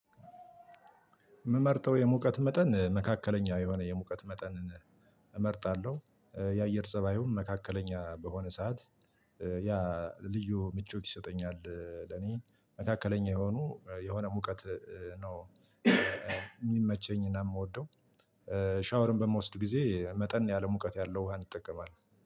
ምመርጠው የሙቀት መጠን መካከለኛ የሆነ የሙቀት መጠን እመርጣለሁ የአየር ፀባዩን መካከለኛ በሆነ ሰዓት ያ ልዩ ምቾት ይሰጠኛል ለኔ መካከለኛ የሆኑ የሆነ ሙቀት ነው ሚመቸኝና ምወደው ሻወርን በምወስድ ጊዜ መጠን ያለ ሙቀት ያለው ውሃ እንጠቀማለን።